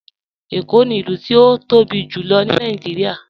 Ẹ̀kó ni ilù tí o tóbi jùlọ̀ ní Nàìjíríà.